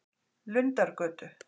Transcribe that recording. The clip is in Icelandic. Lundargötu